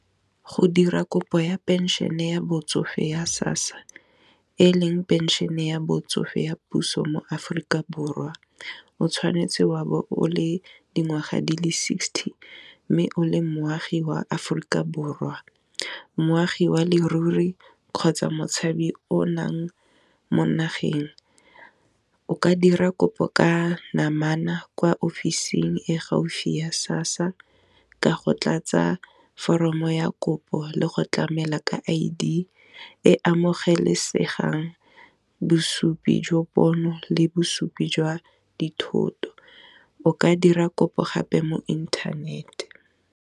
Go dira kopo ya pension-e ya botsofe ya SASSA e leng pension-e ya batsofe ya puso mo Aforika Borwa, o tshwanetse wa bo o le dingwaga di le sixty, mme o le moagi wa Aforika Borwa, moagi ya leruri kgotsa motshabi o nang mo nageng o ka dira kopo ka namana kwa ofising e gaufi ya SASSA, ka go tlatsa foromo ya kopo le go tlamela ka I_D e amogelesegang bosupi jwa pono le bosupi jwa dithoto, o ka dira kopo gape mo internet-e.